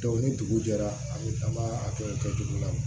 ni dugu jɛra ani an b'a a to yen kɛ cogo la